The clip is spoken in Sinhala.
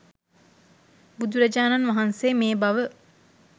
බුදුරජාණන් වහන්සේ මේ බව